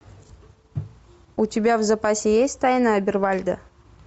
у тебя в запасе есть тайна обервальда